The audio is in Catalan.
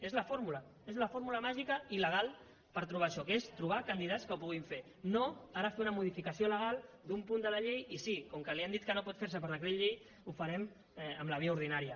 és la fórmula és la fórmula màgica i legal per trobar això que és trobar candidats que ho puguin fer no ara fer una modificació legal d’un punt de la llei i sí com que li han dit que no pot fer se per decret llei ho farem per la via ordinària